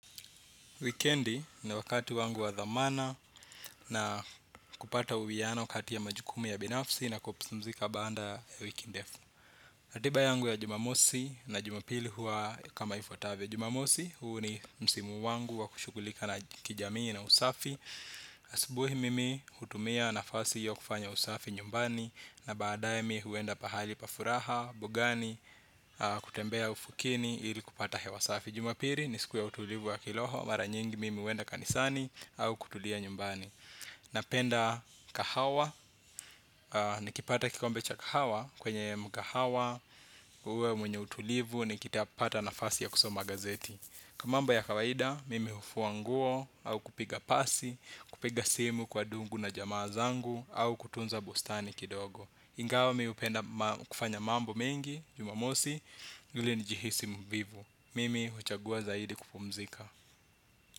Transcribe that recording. Wikendi ni wakati wangu wa dhamana na kupata uwiano kati ya majukumu ya binafsi na kupumzika baanda ya wiki ndefu. Ratiba yangu ya jumamosi na jumapili huwa kama ifuatavyo. Jumamosi huu ni msimu wangu wa kushugulika na kijamii na usafi. Asubuhi mimi hutumia nafasi hiyo kufanya usafi nyumbani na baadae mi huenda pahali pa furaha, bugani, kutembea ufukeni ili kupata hewa safi. Jumapili ni siku ya utulivu wa kiroho, mara nyingi mimi huwenda kanisani au kutulia nyumbani. Napenda kahawa, nikipata kikombe cha kahawa kwenye mkahawa, uwe mwenye utulivu, nikita pata nafasi ya kusoma gazeti. Kwa mambo ya kawaida, mimi hufua nguo au kupiga pasi, kupiga simu kwa dungu na jamaa zangu au kutunza bustani kidogo. Ingawa mimi upenda kufanya mambo mengi, jumamosi, mwili nijihisi mvivu. Mimi huchagua zaidi kupumzika.